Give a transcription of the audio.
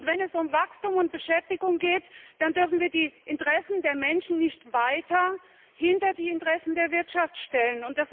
Wenn es um Wachstum und Beschäftigung geht, dann dürfen wir die Interessen der Menschen nicht weiter hinter die Interessen der Wirtschaft stellen.